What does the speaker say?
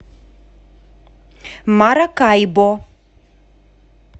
маракайбо